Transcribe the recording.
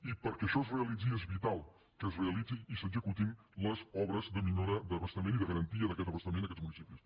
i perquè això es realitzi és vital que es realitzi i s’executin les obres de millora d’abastament i de garantia d’aquest abastament a aquests municipis